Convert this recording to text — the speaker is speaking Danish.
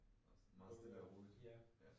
Meget stille og roligt